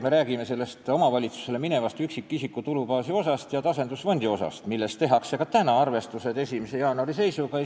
Me räägime sellest omavalitsusele minevast üksikisiku tulumaksu baasi ja tasandusfondi osast, mille tarbeks tehakse arvestused 1. jaanuari seisuga.